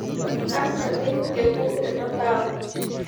kanu ade eoku ena endaa